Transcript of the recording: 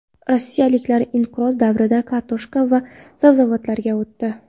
Rossiyaliklar inqiroz davrida kartoshka va sabzavotlarga o‘tdi.